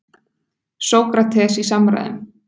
Sókrates í samræðum.